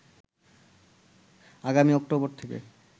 আগামী অক্টোবর থেকে